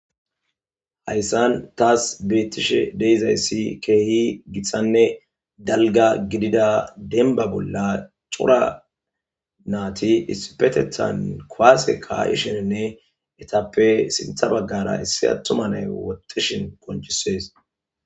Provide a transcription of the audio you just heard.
hayssan taas beettishe deizayssi keehi giththanne dalga gidida denba bolla cora naati issipetethan koaase karisheninne etappe sintha baggara issi attuma nay wotishin koncisees